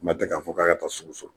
kuma tɛ k'a fɔ k'a ka taa so.